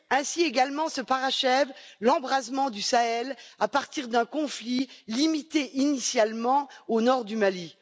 Ainsi également se parachève l'embrasement du Sahel à partir d'un conflit limité initialement au nord du Mali.